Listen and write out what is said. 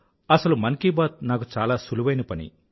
అసలు మన్ కీ బాత్ నాకు చాలా సులువైన పని